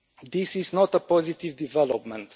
This is not a positive development.